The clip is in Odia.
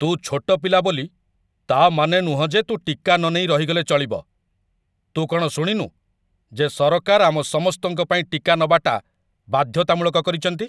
ତୁ ଛୋଟ ପିଲା ବୋଲି, ତା' ମାନେ ନୁହଁ ଯେ ତୁ ଟିକା ନନେଇ ରହିଗଲେ ଚଳିବ । ତୁ କ'ଣ ଶୁଣିନୁ ଯେ ସରକାର ଆମ ସମସ୍ତଙ୍କ ପାଇଁ ଟିକା ନବାଟା ବାଧ୍ୟତାମୂଳକ କରିଚନ୍ତି?